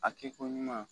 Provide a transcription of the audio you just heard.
A kɛ ko ɲuman